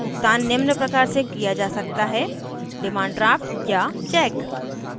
भुगतान निम्न प्रकार से किया जा सकता है